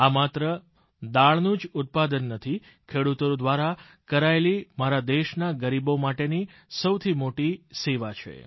આ માત્ર દાળનું જ ઉત્પાદન નથી ખેડૂતો દ્વારા કરાયેલી મારા દેશના ગરીબો માટેની સૌથી મોટી સેવા છે